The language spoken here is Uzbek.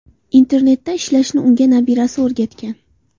Internetda ishlashni unga nabirasi o‘rgatgan.